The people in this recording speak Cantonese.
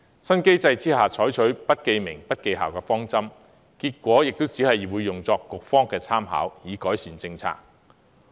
新機制採取不記名、不記校的方針，結果亦只會用作局方的參考，以改善政策。